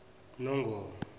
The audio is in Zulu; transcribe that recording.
nongoma